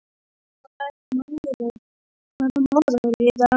Dynja, hvaða mánaðardagur er í dag?